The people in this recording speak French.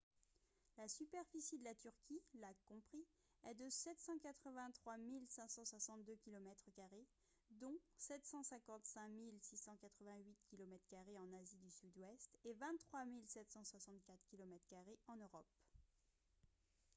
la superficie de la turquie lacs compris est de 783 562 kilomètres carrés dont 755 688 kilomètres carrés en asie du sud-ouest et 23 764 kilomètres carrés en europe